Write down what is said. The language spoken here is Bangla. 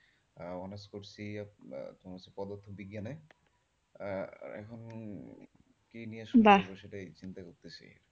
আহ honours করছি পদার্থ বিজ্ঞানে আহ এখন কি নিয়ে শুরু করব সেটাই চিন্তা করতেছি।